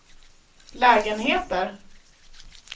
lägenheter